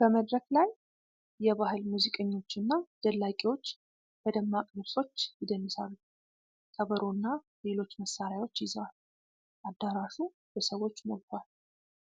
በመድረክ ላይ የባህል ሙዚቀኞችና ደላቂዎች በደማቅ ልብሶች ይደንሳሉ። ከበሮና ሌሎች መሳሪያዎች ይዘዋል፤ አዳራሹ በሰዎች ሞልቷል።